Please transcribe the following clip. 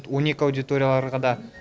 он екі аудиторияларға да